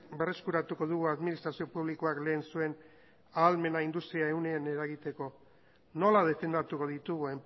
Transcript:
berreskuratuko dugu administrazio publikoak lehen zuen ahalmena industriaren ehunean eragiteko nola defendatuko ditugu